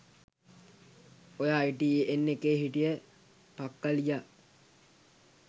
ඔය අයිටීඑන් එකේ හිටිය පක්කලියා